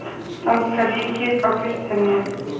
Danska ríkið á Kristjaníu